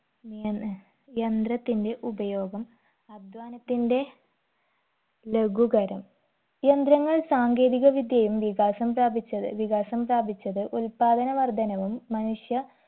യന്ന്‌ യന്ത്രത്തിന്റെ ഉപയോഗം അധ്വാനത്തിന്റെ ലഘുകരം യന്ത്രങ്ങൾ സാങ്കേതിക വിദ്യയും വികാസം പ്രാപിച്ചത് വികാസം പ്രാപിച്ചത് ഉത്പാദന വർദ്ധനവും മനുഷ്യ